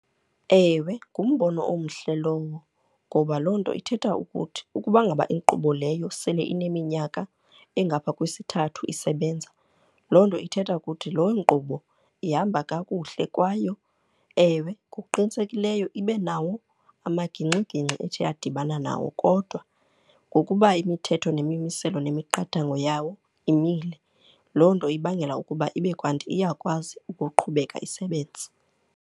Ewe, ngumbono omhle lowo ngoba loo nto ithetha ukuthi ukuba ngaba inkqubo leyo sele ineminyaka engaphaya kwisithathu isebenza, loo nto ithetha ukuthi loo nkqubo ihamba kakuhle kwaye ewe ngokuqinisekileyo, ibe nawo amagingxigingxi ethe yadibana nawo. Kodwa ngokuba imithetho nemimiselo nemiqathango yawo imile, loo nto ibangela ukuba ibe kanti iyakwazi ukuqhubeka isebenze.